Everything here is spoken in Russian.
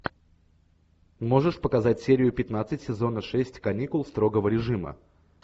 можешь показать серию пятнадцать сезона шесть каникул строгого режима